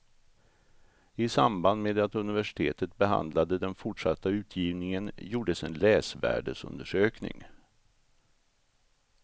I samband med att universitetet behandlade den fortsatta utgivningen gjordes en läsvärdesundersökning.